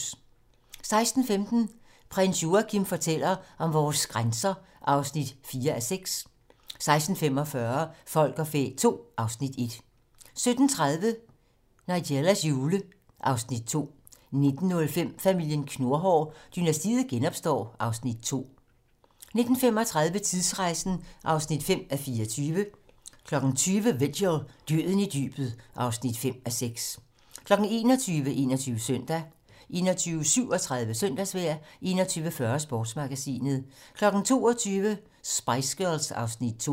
16:15: Prins Joachim fortæller om vores grænser (4:6) 16:45: Folk og fæ II (Afs. 1) 17:30: Nigellas jule (Afs. 2) 19:05: Familien Knurhår: Dynastiet genopstår (Afs. 2) 19:35: Tidsrejsen (5:24) 20:00: Vigil - Døden i dybet (5:6) 21:00: 21 Søndag 21:37: Søndagsvejr 21:40: Sportsmagasinet 22:00: Spice Girls (Afs. 2)